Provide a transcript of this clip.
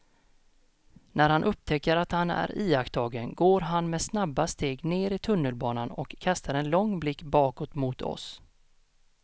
När han upptäcker att han är iakttagen går han med snabba steg ner i tunnelbanan och kastar en lång blick bakåt mot oss.